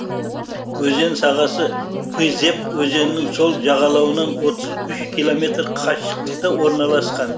өзен сағасы пызеп өзенінің сол жағалауынан отыз үш километр қашықтықта орналасқан